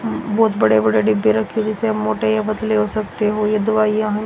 बहोत बड़े बड़े डिब्बे रखे जैसे मोटे या पतले हो सकते हो ये दवाइयां है।